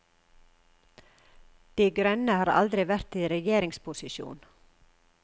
De grønne har aldri vært i regjeringsposisjon.